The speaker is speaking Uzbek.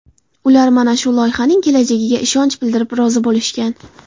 Ular mana shu loyihaning kelajagiga ishonch bildirib, rozi bo‘lishgan.